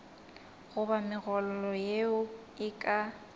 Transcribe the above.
goba megololo yeo e ka